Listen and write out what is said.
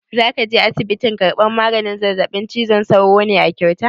Za ka je asibitin karɓan maganin zazzaɓin cizon sauro ne a kyauta?